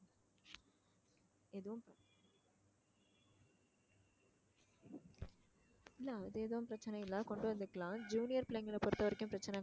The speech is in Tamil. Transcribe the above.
இல்ல அது எதுவும் பிரச்சனை இல்லை கொண்டு வந்துக்கலாம் junior பிள்ளைங்களை பொறுத்தவரைக்கும் பிரச்சனை